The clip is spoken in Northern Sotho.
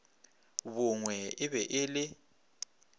bongwe e be e le